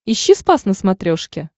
ищи спас на смотрешке